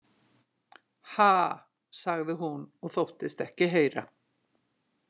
Ha, sagði hún og þóttist ekki heyra.